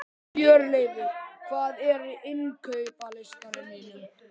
Hjörleifur, hvað er á innkaupalistanum mínum?